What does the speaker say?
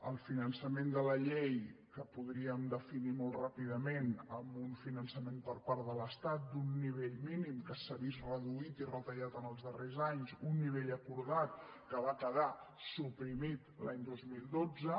el finançament de la llei que podríem definir molt ràpidament amb un finançament per part de l’estat d’un nivell mínim que s’ha vist reduït i retallat en els darrers anys un nivell acordat que va quedar suprimit l’any dos mil dotze